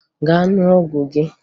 Gaa ṅụọ ọgwụ gị!